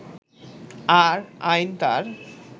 আর আইন তার